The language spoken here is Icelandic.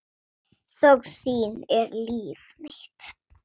Þögn þín er líf mitt.